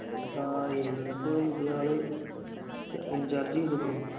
ദാ ഇന്നിപ്പോ പുതിയ ആൾ in charge ചെയ്തിക്കിണു